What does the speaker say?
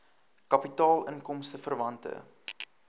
kapitaal inkomste verwante